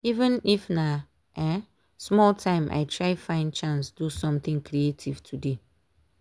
even if na um small time i try find chance do something creative today.